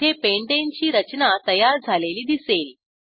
येथे पेंटाने ची रचना तयार झालेली दिसेल